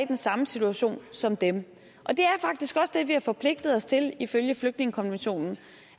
den samme situation som dem og det er faktisk også det vi har forpligtet os til ifølge flygtningekonventionen